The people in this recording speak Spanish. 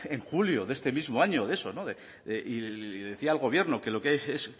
en julio de este mismo año de eso y decía al gobierno que